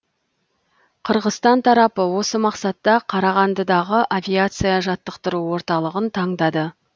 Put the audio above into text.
қырғызстан тарапы осы мақсатта қарағандыдағы авиация жаттықтыру орталығын таңдады